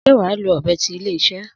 Sé wàá lò ọ̀bẹ ti ilé iṣé?